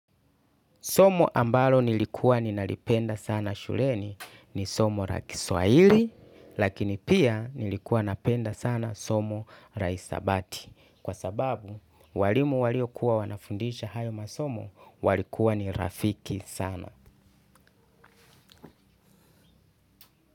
Somo ambalo nilikuwa ninalipenda sana shuleni ni somo la kiswahili, lakini pia nilikuwa napenda sana somo la hisabati. Kwa sababu, walimu walio kuwa wanafundisha hayo masomo walikuwa ni rafiki sana.